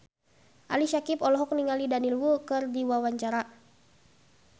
Ali Syakieb olohok ningali Daniel Wu keur diwawancara